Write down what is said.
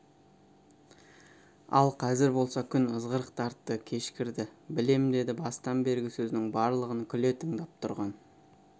ал қазір болса күн ызғырық тартты кешкірді білем деді бастан бергі сөзінің барлығын күле тыңдап тұрған